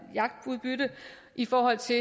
jagtudbytte i forhold til